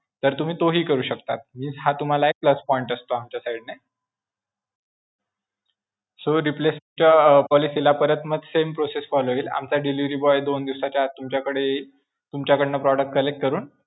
तर तुम्ही तोही करू शकता म्हणजे हा तुम्हाला plus point असतो आमच्या side ने. so replacement अं policy ला परत मग same process follow होईल. आमचा delivery boy दोन दिवसाच्या आत तुमच्याकडे येईल, तुमच्याकडनं product collect करून